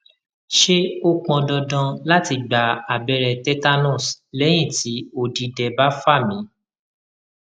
ṣé ó pọn dandan lati gba abẹrẹ tetanus lẹyin ti odidẹ ba fa mi